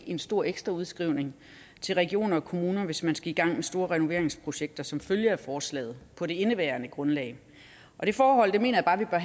en stor ekstra udskrivning til regioner og kommuner hvis man skal i gang med store renoveringsprojekter som følge af forslaget på det indeværende grundlag det forhold mener jeg bare